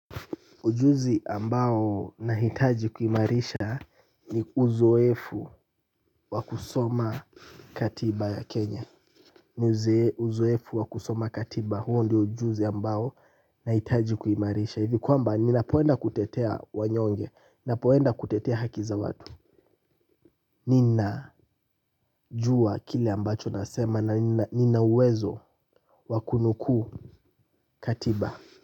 Ujuzi ambao nahitaji kuimarisha ni uzoefu wa kusoma katiba ya Kenya. Ni uzoefu wa kusoma katiba huo ndio ujuzi ambao na hitaji kuimarisha. Hivi kwamba ninapoenda kutetea wanyonge. Ninapoenda kutetea haki za watu. Nina jua kile ambacho nasema na nina uwezo wa kunukuu katiba.